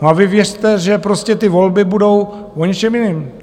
No a vy věřte, že prostě ty volby budou o něčem jiném.